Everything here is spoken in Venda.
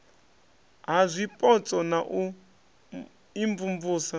ha zwipotso na u imvumvusa